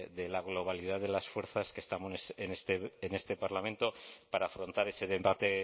de la globalidad de las fuerzas que estamos en este parlamento para afrontar ese debate